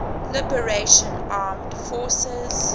liberation armed forces